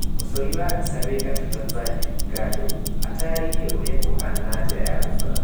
Mũcori wa mbica wĩ gatũ Tanzania Gado atarĩrie ũrĩa kubana na njira ya gũcora.